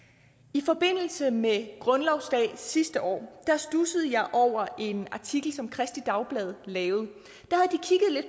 i forbindelse med grundlovsdag sidste år studsede jeg over en artikel som kristeligt dagblad lavet